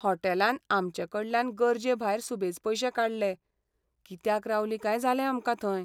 हॉटेलान आमचे कडल्यान गरजेभायर सुबेज पयशे काडले, कित्याक रावलीं काय जालें आमकां थंय.